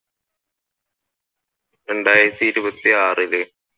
രണ്ടായിരത്തി ഇരുപത്തി ആറിൽ